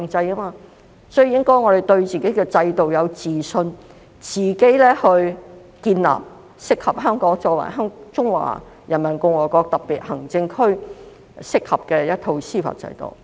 所以，我們應該對自己的制度有自信，建立香港作為中華人民共和國特別行政區一套適合的司法制度。